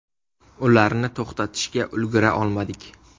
Ularni to‘xtatishga ulgura olmadik.